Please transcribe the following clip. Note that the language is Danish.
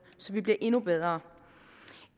så vi bliver endnu bedre